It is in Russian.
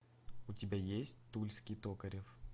у тебя есть тульский токарев